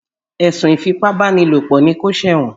Èsùn ìfípábánilòpọ̀ ni kó ṣẹ̀wọ̀n.